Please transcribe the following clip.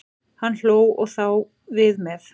En hann hló, og þá við með.